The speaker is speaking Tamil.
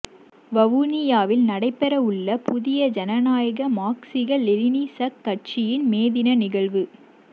வவுனியாவில் நடைபெறவுள்ள புதிய ஜனநாயக மாக்சிச லெனினிசக் கட்சியின் மேதின நிகழ்வு